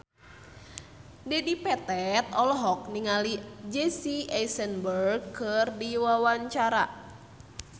Dedi Petet olohok ningali Jesse Eisenberg keur diwawancara